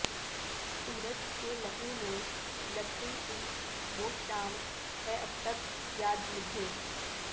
سورج کے لہو میں لتھڑی ہوئی وہ شام ہے اب تک یاد مجھے